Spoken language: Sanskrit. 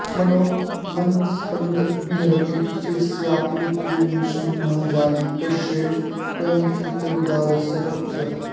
मनो मन्दस्पन्दं बहिरपि चिरस्यापि विमृशन् न जाने कस्यैष परिणतिरुदारस्य तपसः